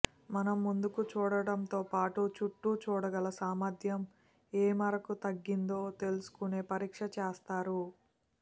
మనం ముందుకు చూడటంతో పాటు చుట్టూ చూడగల సామర్ధ్యం ఏ మేరకు తగ్గిందో తెలుసుకునే పరీక్ష చేస్తారు